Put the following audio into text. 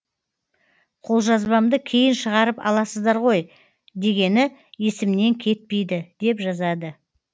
қолжазбамды кейін шығарып аласыздар ғой дегені есімнен кетпейді деп жазады